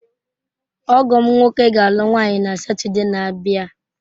Ọgọ m nwoke ga-alụ nwanyị na Satọde na-abịa.